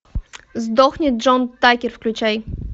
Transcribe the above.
сдохни джон такер включай